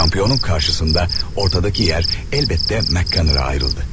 Çempionun qarşısında ortadakı yer əlbəttə Mak Qannerə ayrıldı.